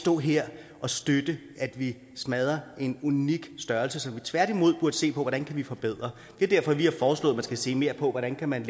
stå her og støtte at vi smadrer en unik størrelse som vi tværtimod burde se på hvordan vi kan forbedre det er derfor vi har foreslået at man skal se mere på hvordan man